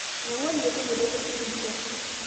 Megol nyekunoto esirikia